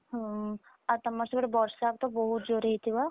ହୁଁ ଆଉ ତମର ସିଆଡେ ବର୍ଷା ତ ବହୁତ ଜୋରେ ହେଉଥିବ?